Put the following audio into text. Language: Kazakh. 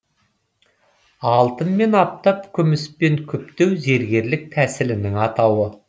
алтынмен аптап күміспен күптеу зергерлік тәсілінің атауы